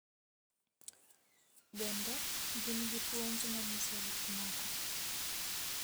Bende, gin gi puonj ma nyiso gik moko.